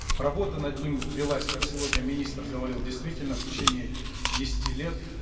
работа над ним велась как сегодня министр говорил действительно в течение десяти лет